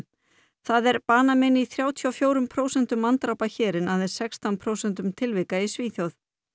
það er banamein í þrjátíu og fjórum prósentum manndrápa hér en aðeins sextán prósentum tilvika í Svíþjóð